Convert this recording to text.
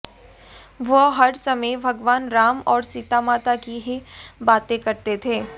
वह हर समय भगवान राम और सीता माता की ही बातें करते थे